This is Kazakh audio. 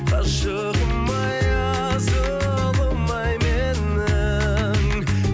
ғашығым ай асылым ай менің